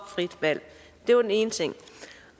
frit valg det var den ene ting